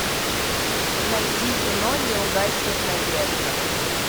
найди кино не угаснет надежда